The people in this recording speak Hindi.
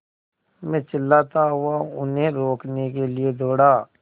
मैं चिल्लाता हुआ उन्हें रोकने के लिए दौड़ा